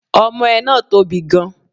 Omoe náà tóbi gan